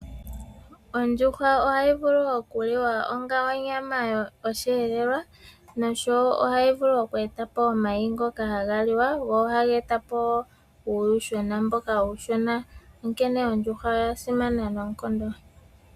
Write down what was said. Ondjuhwa ohayi vulu okuliwa onga onyama yosheelelwa, noshowo ohayi vulu oku etapo omayi ngoka haga liwa, go ohaga etapo wo uuyuhwena mbono uushona. Onkene ondjuhwa oya simana noonkondo.